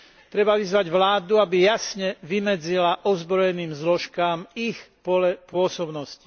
Treba vyzvať vládu, aby jasne vymedzila ozbrojeným zložkám ich pole pôsobnosti.